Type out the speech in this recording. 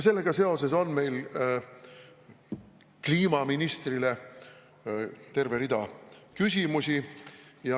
Sellega seoses on meil kliimaministrile terve rida küsimusi.